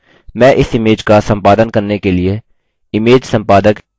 मैं इस इमेज का सम्पादन करने के लिए इमेज सम्पादक gimp का इस्तेमाल कर रहा हूँ